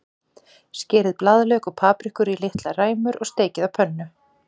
Skerið blaðlauk og paprikur í litlar ræmur og steikið á pönnu.